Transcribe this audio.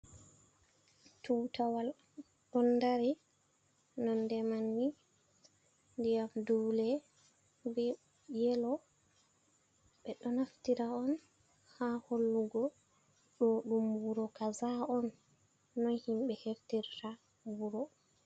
Tutawal ɗon dari nonɗe manni diyam dule be yelo be ɗo naftira on ha hollugo ɗo ɗum wuro kaza on no himbe heftirta wuro.